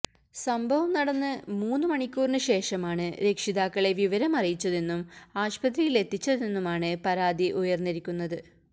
സംഭവം നടന്ന് മൂന്ന് മണിക്കൂറിന് ശേഷമാണ് രക്ഷിതാക്കളെ വിവരമറിയിച്ചതെന്നും ആശുപത്രിയിലെത്തിച്ചതെന്നുമാണ് പരാതി ഉയര്ന്നിരിക്കുന്നത്